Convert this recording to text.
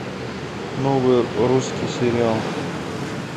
новый русский сериал